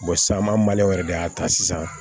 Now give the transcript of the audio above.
san maliyɛn wɛrɛ de y'a ta sisan